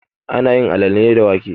Ana yin alale ne da wake.